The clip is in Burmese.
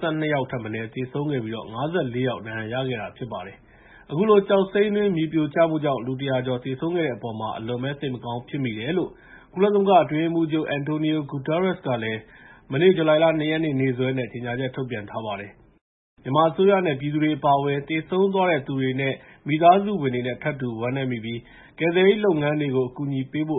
ဆုံးသူ ၁၇၀ ကျော်၊ ဒဏ်ရာရသူ ၅၀ ကျော် ရှိထားပါတယ်။ အခုလို ကျောက်စိမ်းတွင်း မြေပြိုကျမှုကြောင့် လူ ၁၀၀ ကျော်သေဆုံးခဲ့တဲ့အပေါ် အလွန်စိတ်မကောင်းဖြစ်မိတယ်လို့ ကုလသမဂ္ဂအတွင်းရေးမှူးချုပ် Antonio Guterres ကလည်း မနေ့ ဇူလိုင် ၂ ရက်နေ့ နေ့စွဲနဲ့ ကြေငြာချက်ထုတ်ပြန်ခဲ့ပါတယ်။ မြန်မာအစိုးရနဲ့ ပြည်သူတွေအပါအဝင် သေဆုံးသွားတဲ့သူတွေ၊ မိသားစုဝင်တွေနဲ့ ထပ်တူဝမ်းနည်းမိပြီး ကယ်ဆယ်ရေးလုပ်ငန်းတွေကို အကူအညီပေးဖို့